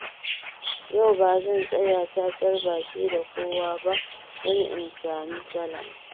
Yau ba zan tsaya cacar baki da kowa ba, don in sami salama.